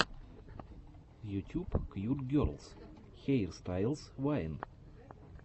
ютюб кьют герлс хейрстайлс вайн